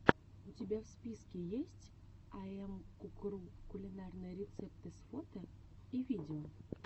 у тебя в списке есть айэмкукру кулинарные рецепты с фото и видео